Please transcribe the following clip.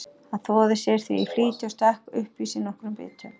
Hann þvoði sér því í flýti og stakk upp í sig nokkrum bitum.